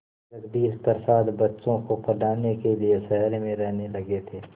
जगदीश प्रसाद बच्चों को पढ़ाने के लिए शहर में रहने लगे थे